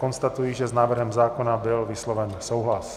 Konstatuji, že s návrhem zákona byl vysloven souhlas.